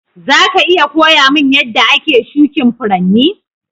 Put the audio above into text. Za ka iya koya mun yadda ake shukin Furanni?